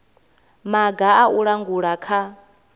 maga a u langula kha